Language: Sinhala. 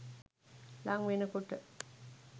ළං වෙන කොට